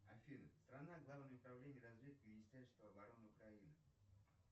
афина страна главное управление разведки министерства обороны украины